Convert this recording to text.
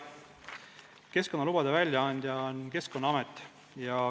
" Keskkonnalubade väljaandja on Keskkonnaamet.